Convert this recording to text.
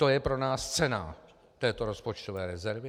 To je pro nás cena této rozpočtové rezervy?